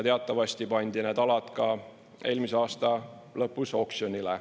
Teatavasti pandi need alad ka eelmise aasta lõpus oksjonile.